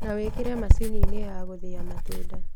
Na wĩkĩre macini-inĩ ya gũthĩa matunda